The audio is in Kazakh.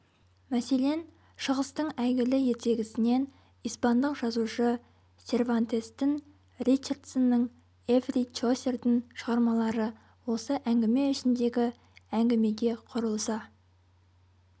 мәселен шығыстың әйгілі ертегісінен испандық жазушы сервантестің ричардсонның ефри чосердің шығармалары осы әңгіме ішіндегі әңгімеге құрылса